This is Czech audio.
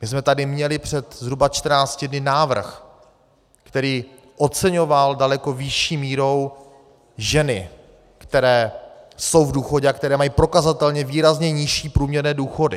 My jsme tady měli před zhruba 14 dny návrh, který oceňoval daleko vyšší mírou ženy, které jsou v důchodu a které mají prokazatelně výrazně nižší průměrné důchody.